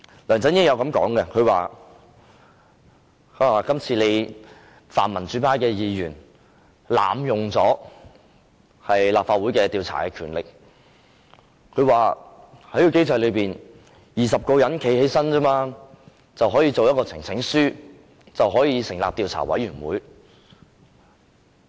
梁振英曾經說，泛民主派的議員濫用立法會調查的權力，在現行機制下，由20位議員站起來提交一份呈請書，便可成立專責委員會。